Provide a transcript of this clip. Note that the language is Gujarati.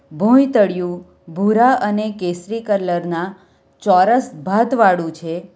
ભોંય તળિયું ભૂરા અને કેસરી કલરના ચોરસ ભાત વાળું છે.